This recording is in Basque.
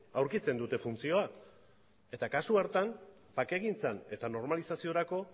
aurkitzen dute funtzioa eta kasu hartan bakegintzan eta normalizaziorako